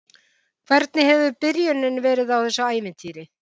Hvernig hefur byrjunin verið á þessu ævintýri?